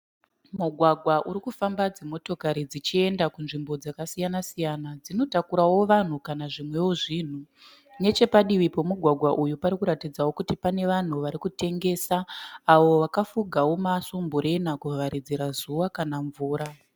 Mugwagwa urikufamba dzimotokari dzichienda kunzvimbo dzakasiyana-siyana. Dzinotakurawo vanhu kana zvimwewo zvinhu. Nechepadivi pomugwagwa uyu parikuratidzawo kuti pane vanhu varikutengesa avo vakafuga masumburena kuvharidzira mvura kana zuva.